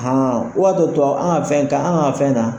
Hɔn tɔ an ka fɛn ta an ka fɛn na